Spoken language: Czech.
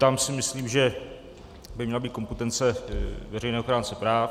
Tam si myslím, že by měla být kompetence veřejného ochránce práv.